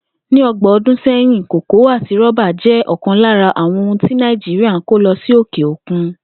Ní o̩gbò̩n o̩dún sé̩yìn, kòkó àti ró̩ba jé̩ o̩kàn lára àwo̩n ohun tí Nàìjíríà ń kó lo̩ sí òkè òkun